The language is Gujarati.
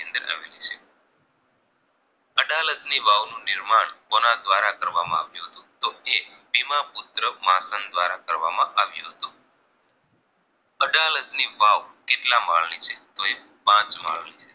અડાલજની વાવ નું નિર્માણ કોના દ્વારા કરવામાં આવ્યું હતું તો એ બીમા પુત્ર માખણ દ્વારા કરવામાં આવ્યું હતુ અડાલજની વાવ કેટલા માળની છે તો એ પાંચ માળની છે